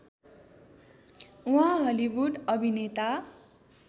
उहाँ हलिउड अभिनेता